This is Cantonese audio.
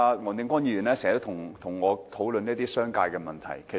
黃定光議員經常和我討論商界問題。